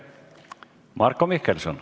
Marko Mihkelson.